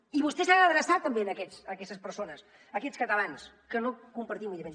i vostè s’ha d’adreçar també a aquestes persones a aquests catalans que no compartim ideologia